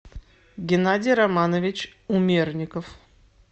геннадий романович умерников